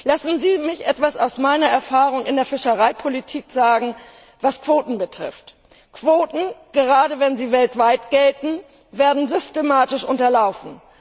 Lassen Sie mich etwas aus meiner Erfahrung in der Fischereipolitik sagen, was Quoten betrifft Quoten, gerade wenn sie weltweit gelten, werden systematisch unterlaufen.